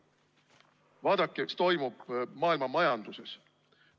Vaadake, mis toimub maailma majanduses.